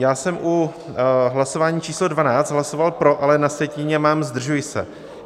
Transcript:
Já jsem u hlasování číslo 12 hlasoval pro, ale na sjetině mám zdržuji se.